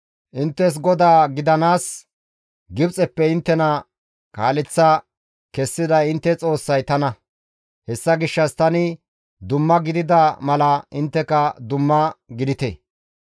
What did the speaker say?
Inttes GODAA gidanaas Gibxeppe inttena kaaleththa kessiday intte Xoossay tana; hessa gishshas tani dumma gidida mala intteka dumma gidite.